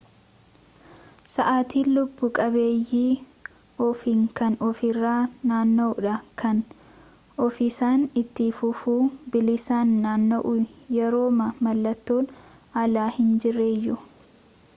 sa'aatin lubbu-qabeeyyii ofiin kan ofirra naanna'uudha kan ofiisaan itti fufuun bilisaan naanna'u yerooma mallattoon alaa hin jirreyyuu